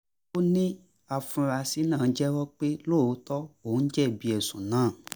ó ní àfúrásì náà jẹ́wọ́ pé lóòótọ́ òun jẹ̀bi ẹ̀sùn náà